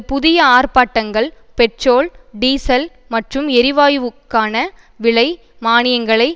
புதிய ஆர்ப்பாட்டங்கள் petrol diesel மற்றும் எரிவாயுவுக்கான விலை மானியங்களை